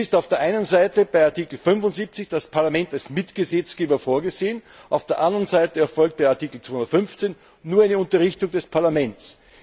Somit ist auf der einen Seite bei Artikel 75 das Parlament als Mitgesetzgeber vorgesehen, auf der anderen Seite erfolgt bei Artikel 215 nur eine Unterrichtung des Parlaments.